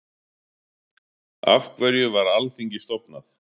Af hverju var Alþingi stofnað?